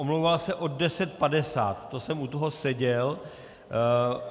Omlouval se od 10.50, to jsem u toho seděl.